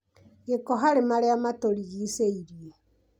Gĩko harĩ marĩa matũrigicĩirie